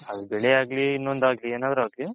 ಅದ್ ಬೆಳೆ ಆಗ್ಲಿ ಇನೊಂದು ಆಗ್ಲಿ ಏನಾದ್ರು ಆಗ್ಲಿ .